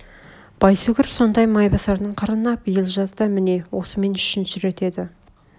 байсүгір сондай майбасардың қырына биыл жазда мне осымен үшінші рет еді